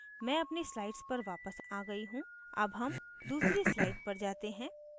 मैं अपनी slides पर वापस आ गयी हूँ अब हम दूसरी slides पर जाते हैं